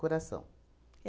Coração.